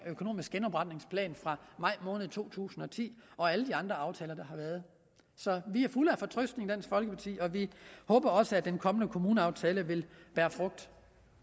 økonomiske genopretningsplan fra maj måned to tusind og ti og alle de andre aftaler der har været så vi er fulde af fortrøstning og vi håber også at den kommende kommuneaftale vil bære frugt